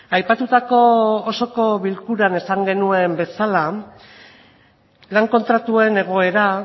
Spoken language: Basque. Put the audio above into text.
aipatutako osoko bilkuran esan genuen bezala lan kontratuen egoera